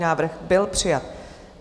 Návrh byl přijat.